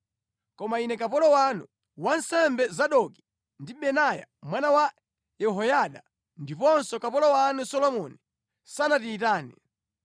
Koma ine kapolo wanu, wansembe Zadoki ndi Benaya mwana wa Yehoyada, ndiponso kapolo wanu Solomoni sanatiyitane.